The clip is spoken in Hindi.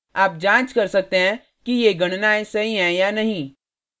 आप जाँच कर सकते हैं कि ये गणनायें सही हैं या नहीं